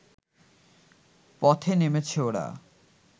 পথে নেমেছে ওরা